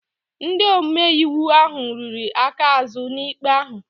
Ndị omeiwu ahụ riri aka azụ n'ikpe ahụ